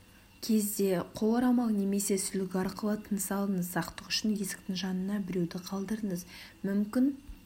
кезде қол орамал немесе сүлгі арқылы тыныс алыңыз сақтық үшін есіктің жанына біреуді қалдырыңыз мүмкін